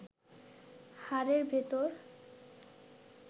হাড়ের ভেতর